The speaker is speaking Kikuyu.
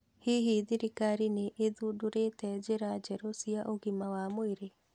Hihi thirikarĩ nĩ ĩthundũrĩte njĩra njerũ cia ũgima wa mwĩrĩ?